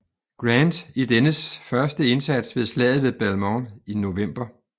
Grant i dennes første indsats ved Slaget ved Belmont i november